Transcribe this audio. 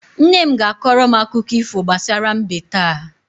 Nne m ga-akọrọ m akụkọ ifo gbasara mbe taa.